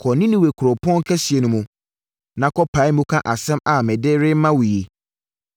“Kɔ Ninewe kuropɔn kɛseɛ no mu, na kɔpae mu ka asɛm a mede rema wo yi.”